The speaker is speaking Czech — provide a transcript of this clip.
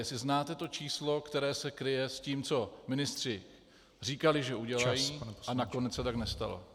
Jestli znáte to číslo, které se kryje s tím, co ministři říkali, že udělají, a nakonec se tak nestalo.